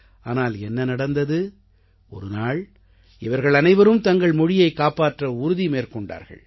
ஆனால் என்ன நடந்தது ஒரு நாள் இவர்கள் அனைவரும் தங்கள் மொழியைக் காப்பாற்ற உறுதியை மேற்கொண்டார்கள்